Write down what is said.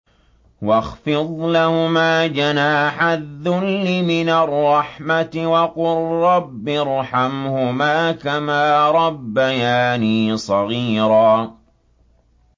وَاخْفِضْ لَهُمَا جَنَاحَ الذُّلِّ مِنَ الرَّحْمَةِ وَقُل رَّبِّ ارْحَمْهُمَا كَمَا رَبَّيَانِي صَغِيرًا